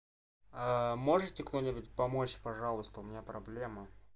а можете кто-нибудь помочь пожалуйста у меня проблема